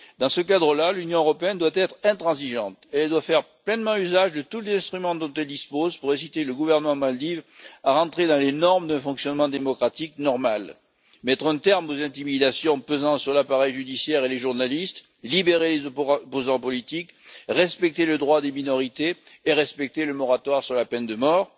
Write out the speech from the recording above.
Dans ce cadre là, l'Union européenne doit être intransigeante et faire pleinement usage de tous les instruments dont elle dispose pour inciter le gouvernement des Maldives à rentrer dans les normes de fonctionnement démocratique normal mettre un terme aux intimidations pesant sur l'appareil judiciaire et les journalistes, libérer les opposants politiques, respecter le droit des minorités et respecter le moratoire sur la peine de mort.